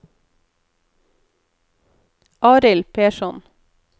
Arild Persson